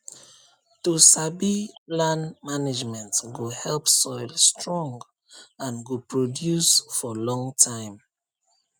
to sabi land management go help soil strong and go produce for long time